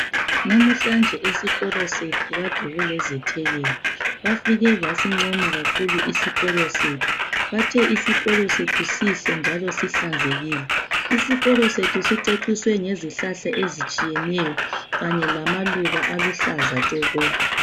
Namhlanje esikolo sethu kade kulezethekeli, bafike basincoma kakhulu isikolo sethu. Bathe isikolo sethu sihle njalo sihlanzekile. Isikolo sethu siceciswe ngezihlahla ezitshiyeneyo kanye lamaluba aluhlaza tshoko.